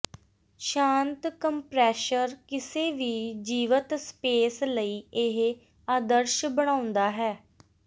ਸ਼ਾਂਤ ਕੰਪ੍ਰੈਸ਼ਰ ਕਿਸੇ ਵੀ ਜੀਵਤ ਸਪੇਸ ਲਈ ਇਹ ਆਦਰਸ਼ ਬਣਾਉਂਦਾ ਹੈ